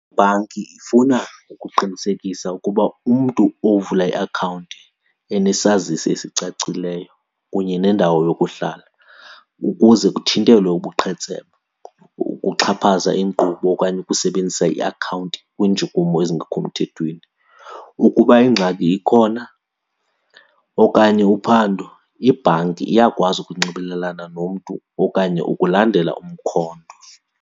Ibhanki ifuna ukuqinisekisa ukuba umntu uvula iakhawunti enesazisi esicacileyo kunye nendawo yokuhlala ukuze kuthintelwe ubuqhetseba, ukuxhaphaza iinkqubo okanye ukusebenzisa iakhawunti kwiintshukumo ezingekho mthethweni. Ukuba ingxaki ikhona okanye uphando, ibhanki iyakwazi ukunxibelelana nomntu okanye ukulandela umkhondo.